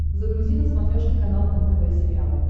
загрузи на смотрешке канал нтв сериал